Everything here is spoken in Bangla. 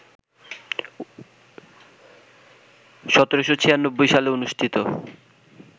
১৭৯৬ সালে অনুষ্ঠিত